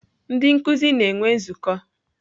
Ndị nkuzi na-enwe nzukọ.